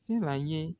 Sela ye